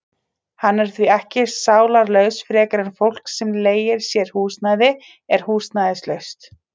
Hann er því ekki sálarlaus frekar en fólk sem leigir sér húsnæði er húsnæðislaust.